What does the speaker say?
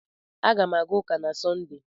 Aga m aga ụka na Sọnde.